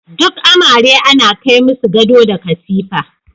Duk amare ana kai masu gado da katifa.